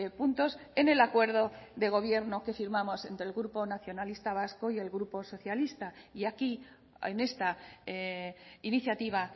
puntos en el acuerdo de gobierno que firmamos entre el grupo nacionalista vasco y el grupo socialista y aquí en esta iniciativa